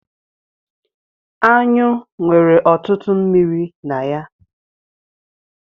Anyụ nwere ọtụtụ mmiri na ya.